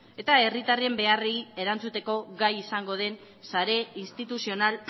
eta herritarren beharrei erantzuteko gai zaingo den sare instituzional